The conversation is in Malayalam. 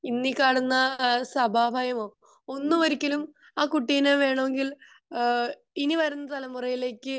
ഇന്ന് ഈ കാണുന്ന സഭ ഭയമോ ഒന്നും ഒരിക്കലും അഹ് കുട്ടിനെ വേണെങ്കിൽ ഇനി വരുന്ന തെലമുറക്ക്